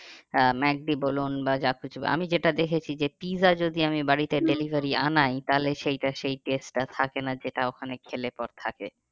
আহ McD বলুন বা যা কিছু আমি যেটা দেখেছি যে পিৎজা যদি আমি আনাই তাহলে সেইটা সেই test টা থাকে না যেটা ওখানে খেলে পরে থাকে।